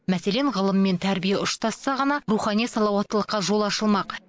мәселен ғылым мен тәрбие ұштасса ғана рухани салауаттылыққа жол ашылмақ